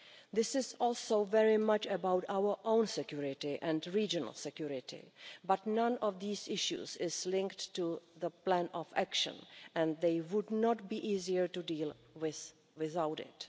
This is also very much about our own security and regional security, but none of these issues is linked to the Plan of Action and they would not be easier to deal with without it.